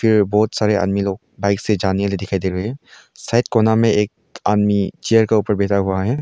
बहुत से आदमी बाइक से जाने वाले दिखाई दे रहे हैं शायद कोना में एक आदमी चेयर के ऊपर बैठा हुआ है।